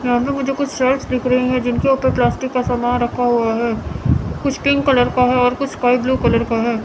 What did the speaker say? यहां पे मुझे कुछ शेल्फ्स दिख रही हैं जिनके ऊपर प्लास्टिक का सामान रखा हुआ है कुछ पिंक कलर का है और कुछ स्काई ब्लू कलर का है।